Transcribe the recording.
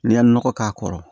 N'i ye nɔgɔ k'a kɔrɔ